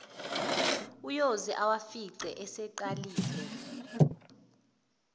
uyoze awafice eseqalile